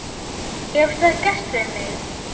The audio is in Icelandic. Hefur það gerst við mig?